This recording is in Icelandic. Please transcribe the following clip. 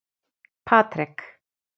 Patrek